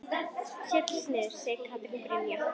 Setjast niður? segir Katrín Brynja.